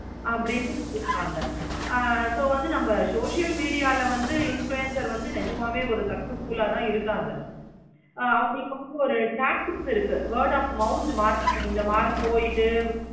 அப்படின்னு ஆமா ஆஹ் so நம்ம வந்து social media ல வந்து influencer வந்து நிஜமாவே ஒரு successfull ஆஹ் தான் இருக்காங்க. ஆஹ் அவங்களுக்கு வந்து ஒரு tactics இருக்கு. word of mouth இருக்கு. இந்த மாதிரி போயிட்டு